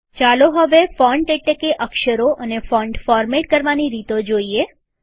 ચાલો હવે ફોન્ટ એટલેકે અક્ષરો અને ફોન્ટ ફોરમેટ કરવાની રીતો જોઈએ